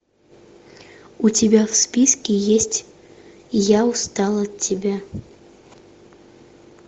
у тебя в списке есть я устал от тебя